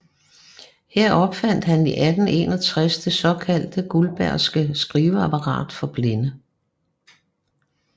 Her opfandt han i 1861 det såkaldte guldbergske skriveapparat for blinde